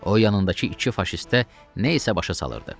O yanındakı iki faşistə nə isə başa salırdı.